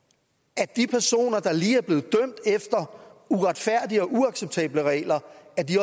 at de personer der lige er blevet dømt efter uretfærdige og uacceptable regler